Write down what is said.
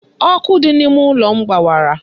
Ọkụ dị n'ime ụlọ m gbawara.